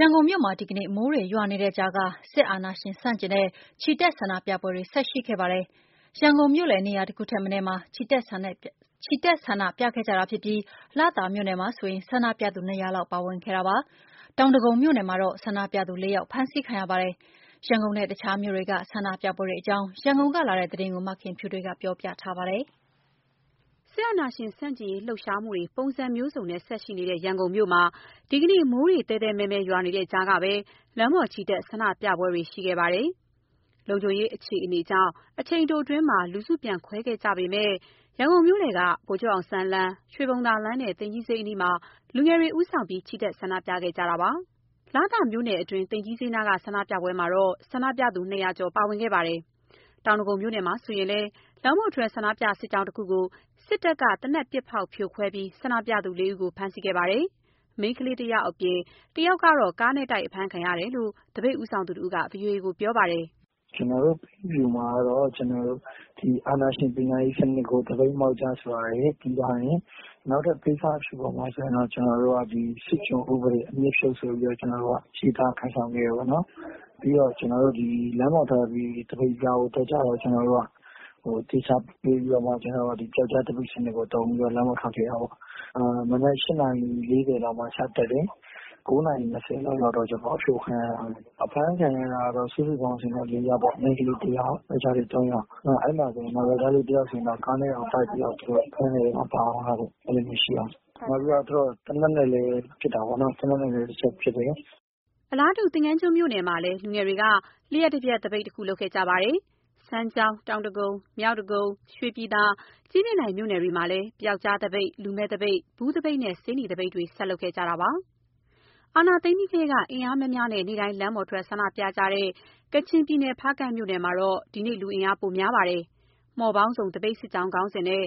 ရန်ကုန်မြို့မှာ ဒီနေ့ မိုးတွေရွာနေတဲ့ကြားက စစ်အာဏာရှင် ဆန့်ကျင်တဲ့ ချီတက်ဆန္ဒပြပွဲတွေ ဆက်ရှိခဲ့ပါတယ်။။ ရန်ကုန်မြို့လည်နေရာ တခုထက်မနည်းမှာ ချီတက်ဆန္ဒပြခဲ့ကြပြီး လသာမြို့နယ်မှာဆို ဆန္ဒပြသူ ၂၀၀ လောက် ပါဝင်ခဲ့ကြပါတယ်။ တောင်ဒဂုံမြို့နယ်မှာတော့ ဆန္ဒပြသူ ၄ ယောက် ဖမ်းဆီးခံရပါတယ်။ ရန်ကုန်နဲ့ တခြားမြို့တွေက ဆန္ဒပြပွဲတွေအကြောင်း ရန်ကုန်ကလာတဲ့သတင်းကို မခင်ဖြူထွေးက ပြောပြထားပါတယ်။ စစ်အာဏာရှင်ဆန့်ကျင်ရေးလှုပ်ရှားမှုတွေ ပုံစံမျိုးစုံနဲ့ ဆက်ရှိနေတဲ့ရန်ကုန်မြို့မှာ ဒီကနေ့ မိုးသည်းသည်းမည်းမည်း ရွာနေတဲ့ကြားကပဲ လမ်းပေါ်ချီတက် ဆန္ဒပြပွဲတွေ ရှိခဲ့တာပါ။ လုံခြုံရေးအခြေအနေကြောင့် အချိန်တိုအတွင်း လူစုပြန်ခွဲခဲ့ကြရပေမဲ့ ရန်ကုန်မြို့လည်က ဗိုလ်ချုပ်အောင်ဆန်းလမ်း၊ ရွှေဘုံသာလမ်းနဲ့ သိမ်ကြီးဈေးအနီးမှာ လူငယ်တွေဦးဆောင်တဲ့ ချီတက်ဆန္ဒပြခဲ့ကြပါတယ်။ လသာမြို့နယ်တွင်း သိမ်ကြီးဈေးနားက ဆန္ဒပြပွဲမှာဆို ဆန္ဒပြသူ ၂၀၀ ကျော် ပါဝင်ခဲ့တာပါ။ တောင်ဒဂုံမြို့နယ်မှာဆိုလည်း လမ်းပေါ်ထွက်ဆန္ဒပြစစ်ကြောင်းတခုကို စစ်တပ်က သေနတ်ပစ်ဖောက်ဖြိုခွဲပြီး ဆန္ဒပြသူ ၄ ဦးကို ဖမ်းဆီးခဲ့ပါတယ်။ မိန်းကလေး တယောက်အပြင် တယောက်က ကားနဲ့တိုက် အဖမ်းခံရတယ်လို့ သပိတ်ဦးဆောင်သူတဦးက ဗွီအိုအေကို ပြောပါတယ်။ “ကျနော်တို့ ပိတ်အဖြူမှာ အာဏာရှင်ပညာရေးစနစ်ကို သပိတ်မှောက်ကြဆိုတာရယ် ပြီးသွားရင် နောက်ထပ်ပိတ်စအဖြူပေါ်မှာ ကျနော်တို့က ဒီစစ်ကျွန်ဥပဒေ အမြစ်ဖြုတ်ဆိုပြီးတော့ ကျနော်တို့က ရေးသားကိုင်ဆောင်ခဲ့တယ်ပေါ့နော်။ ပြီးတော့ ကျနော်တို့ သပိတ်စစ်ကြောင်းကို ထွက်ကြတယ်။ ကျနော်တို့က သေချာပြင်ပြီးတော့မှ ပျောက်ကျားသပိတ်စနစ်ကိုသုံးပြီး လမ်းပေါ်ထွက်ခဲ့တာပေါ့၊ မနက် ၈ နာရီ ၄၀ လောက်မှာ စထွက်တယ် ၉ နာရီ ၂၀ လောက်မှာကျတော့ အဖြိုခံရတာပဲ၊ အဖမ်းခံရတာတော့ စုစုပေါင်း လေးယောက်ပေါ့၊ မိန်ကလေးတစ်ယောက်၊ ယောကျာ်လေး သုံးယောက်၊ နောက် အဲ့မှာဆိုရင် ယောကျာ်းတစ်ယောက်ဆိုရင် ကားနဲ့တောင်တိုက်ပြီးတော့ သူတို့ ဖမ်းတဲ့အထဲ ပါသွားတယ်၊ နောက်ပြီးတော့ သူတို့ သေနတ်နဲ့လည်း ပစ်တာပေါ့နော်၊ သေနတ်နဲ့လည်း တစ်ချက်ပစ်တယ်။” အလားတူ သင်္ဃန်းကျွန်းမြို့နယ်မှာလည်း လူငယ်တွေက လျှပ်တပျက်သပိတ်တခု လုပ်ခဲ့ကြပါတယ်။ စမ်းချောင်း၊ တောင်ဒဂုံ၊ မြောက်ဒဂုံ၊ ရွှေပြည်သာ၊ ကြည့်မြင့်တိုင်မြို့နယ်တွေမှာလည်း ပျောက်ကြားသပိတ်၊ လူမဲ့သပိတ်၊ ဘူးသပိတ်၊ ဆေးနီသပိတ်တွေ ဆက်လုပ်ကြပါတယ်။ စစ်အာဏာသိမ်းပြီးထဲက အင်အားများများနဲ့ နေ့တိုင်း လမ်းပေါ်ထွက် ဆန္ဒပြကြတဲ့ ကချင်ပြည်နယ် ဖားကန့်မြို့နယ်မှာဆို ဒီနေ့လူအင်အား ပိုများပါတယ်။ မှော်ပေါင်းစုံ သပိတ်စစ်ကြောင်းခေါင်းစဉ်နဲ့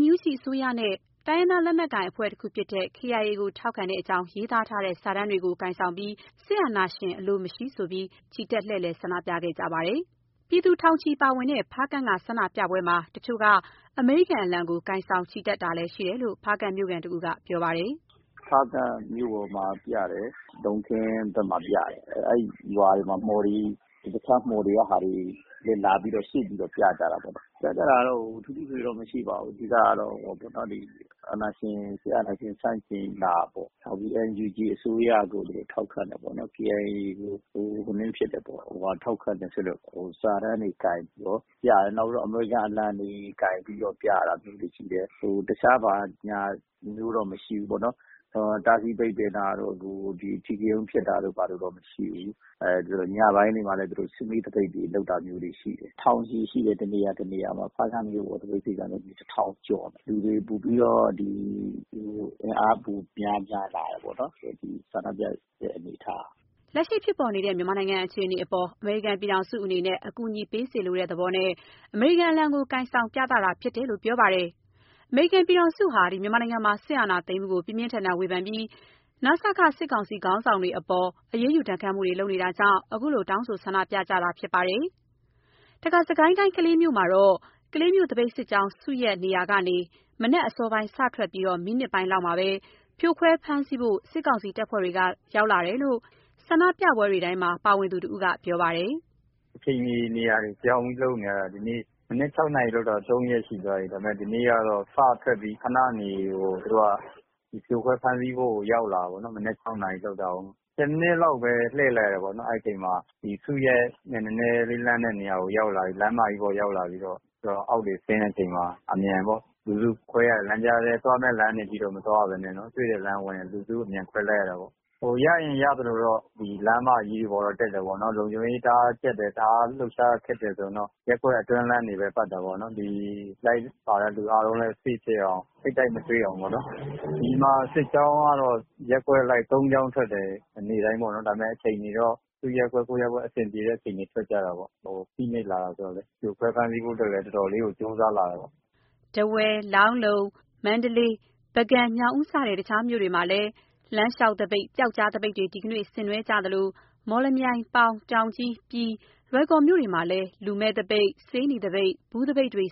NUG အစိုးရနဲ့ တိုင်းရင်းသားလက်နက်ကိုင်ဖြစ်တဲ့ KIA ကိုထောက်ခံကြောင်း ရေးသားထားတဲ့ စာတမ်းတွေကိုင်ဆောင်ကာ စစ်အာဏာရှင်အလိုမရှိ ချီတက်လှည့်လည် ဆန္ဒပြကြပါတယ်။ ပြည်သူ ထောင်ချီ ပါဝင်ခဲ့တဲ့ ဖားကန့်က ဆန္ဒပြပွဲမှာ တချို့က အမေရိကန်အလံကို ကိုင်ဆောင်ချီတက်တာလည်းရှိတယ်လို့ ဖားကန့်မျိုးခံတစ်ဦးက ပြောပါတယ်။ “ဖားကန့်မြို့ပေါ်မှာ ပြတယ်၊ လုံခင်းဘက်မှာ ပြတယ်၊ အဲ့ရွာတွေမှာ မှော်တွေ တခြားမှော်တွေကဟာတွေလာပြီးတော့ စုပြီးတော့ ပြကြတယ်၊ ပြကြတာတော့ ထူးထူးထွေထွေတော့ မရှိပါဘူး၊ အဓိကကတော့ အာဏာရှင် စစ်အာဏာရှင်ဆန့်ကျင်တာပေါ့၊ နောက်ပြီး NUG အစိုးရကို ထောက်ခံတယ်ပေါ့၊ KIA ကို ထောက်ခံတယ်ဆိုတဲ့ စာတမ်းတွေကိုင်ပြီးတော့ ပြတယ်၊ နောက်ပြီးတော့ အမေရိကန်အလံတွေ ကိုင်ပြီးတော့ ပြတာမျိုးတွေရှိတယ်၊ တခြားဘာညာမျိုးတော့ မရှိဘူးပေါ့။ တားဆီးပိတ်ပင်တာတို့ အဓိကရုဏ်းဖြစ်တာတို့မရှိဘူး၊ ညပိုင်းတွေမှာလည်း စုဝေးသပိတ်တွေ လုပ်တာမျိုးတွေရှိတယ်၊ ထောင်ချီရှိတယ် တစ်နေရာ တစ်နေရာမှာ၊ ဖားကန့်မြို့ပေါ်သပိတ်ကဆို တစ်ထောင်ကျော်တယ်၊ လူတွေ ပိုပြီးတော့ အင်အားပိုများပြားတယ်ပေါ့နော်ဆန္ဒပြတဲ့ အနေအထားက။” လက်ရှိဖြစ်ပေါ်နေတဲ့ မြန်မာနိုင်ငံအခြေအနေအပေါ် အမေရိကန်ပြည်ထောင်စုအနေနဲ့ အကူအညီပေးစေလိုတဲ့သဘောနဲ့ အမေရိကန်အလံကို ကိုင်ဆောင်ပြသတာဖြစ်လို့ ပြောပါတယ်။ အမေရိကန်ဟာ စစ်အာဏာသိမ်းမှုကို ပြင်းပြင်းထန်ထန် ဝေဖန်ပြီး နစက စစ်ကောင်စီခေါင်းဆောင်တွေအပေါ် အရေးယူ ဒဏ်ခတ်မှုတွေ လုပ်နေတာကြောင့် ခုလို တောင်းဆိုဆန္ဒပြကြတာဖြစ်ပါတယ်။ တခါ စစ်ကိုင်းတိုင်း ကလေးမြို့မှာတော့ ကလေးမြို့သပိတ်စစ်ကြောင်း စုရပ်နေရာကနေ မနက်အစောပိုင်း စထွက်ပြီး မိနစ်ပိုင်းလောက်မှာ ဖြိုခွဲဖမ်းဆီးဖို့ စစ်ကောင်စီတပ်ဖွဲ့ကရောက်လာတယ်လို့ ဆန္ဒပြပွဲတွေတိုင်းမှာ ပါဝင်သူတစ်ဦးက ပြောပါတယ်။ “အချိန်မီ နေရာတွေပြောင်းပြီး လုပ်နေရတယ်၊ ဒီနေ့ မနက် ၆ နာရီလုပ်တာ သုံးရက်ရှိသွားပြီ၊ ဒါပေမယ့် ဒီနေ့ကတော့ စထွက်ပြီး ခနနေ သူတို့က ဖြိုခွဲဖမ်းဆီးဖို့ ရောက်လာတယ်ပေ့ါနော်၊ မနက် ၆ နာရီလုပ်တာကို ၁၀ မိနစ်လောက်ပဲ လှည့်တယ်ပေါ့နော်၊ အဲ့ချိန်မှာ ဒီစုရပ်နဲ့ နည်းနည်းလေးလှမ်းတဲ့နေရာကို ရောက်လာပြီး လမ်းမတွေပေါ်ရောက်လာပြီးတော့ သူတို့အောက်ဆင်းတဲ့အချိန်မှာ အမြန်ပေ့ါ လူစုခွဲရတယ်၊ သွားမယ့်လမ်းတွေအထိတော့ မသွားရဘဲနဲ့နော်၊ တွေ့တဲ့လမ်းဝင် လူစုအမြန်ခွဲလိုက်ရတာပေါ့၊ ဟိုရရင်ရသလိုတော့ လမ်းမကြီးပေါ်တက်တယ်ပေါ့နော်၊ လုံခြုံရေးတအားကြပ်တယ်၊ တအားလှုပ်ရှားရခက်တယ်ဆိုရင်တော့ ရပ်ကွက်အတွင်းလမ်းတွေပဲ ပတ်တာပေါ့နော်၊ ဒီလိုက်ပါလာတဲ့ လူအားလုံးလည်း safe ဖြစ်အောင် ထိပ်တိုက်မတွေ့အောင်ပေါ့နော်။ ဒီမှာ စစ်ကြောင်းကတော့ရပ်ကွက်အလိုက် သုံးကြောင်းထွက်တယ် နေ့တိုင်းပေါ့နော် ဒါပေမယ့် အချိန်တွေတော့ သူ့ရပ်ကွက် ကိုယ့်ရပ်ကွက် အဆင်ပြေတဲ့အချိန် ထွက်ကြတာပေ့ါ၊ အို… ဖိနှိပ်လာတယ်ဆိုတော့လည်း ဖြိုခွဲဖမ်းဆီးဖို့အတွက်လည်း တော်တော်လေးကိုကြိုးစားလာတယ်ပေါ့။” ထားဝယ်၊ လောင်းလုံ၊ မန္တလေး၊ ပုဂံ၊ ညောင်ဦး စတဲ့ တခြားမြို့တွေမှာလည်း လမ်းလျှောက်သပိတ်၊ ပျောက်ကြားသပိတ်တွေ ဆင်နွှဲကြသလို မော်လမြိုင်၊ ပေါင်၊ တောင်ကြီး၊ ပြည်၊ လွိုင်ကော်မြို့တွေမှာလည်း လူမဲ့သပိတ်၊ ဆေးနီသပိတ်၊ ဘူးသပိတ်တွေ